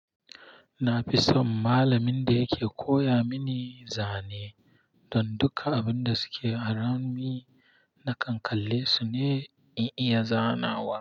Na fi son malamin da yake koya mini zane don duka abinda suke around me na kankalle su ne in iya zanawa.